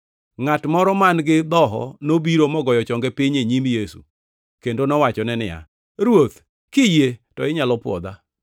Ngʼat moro man-gi dhoho nobiro mogoyo chonge piny e nyim Yesu, kendo nowachone niya, “Ruoth, kiyie to inyalo pwodha.”